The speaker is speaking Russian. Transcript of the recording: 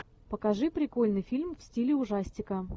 покажи прикольный фильм в стиле ужастика